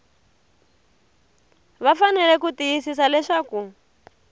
va fanele ku tiyisisa leswaku